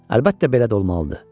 Əlbəttə belə də olmalıdır.